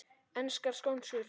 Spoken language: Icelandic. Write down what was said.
Enskar skonsur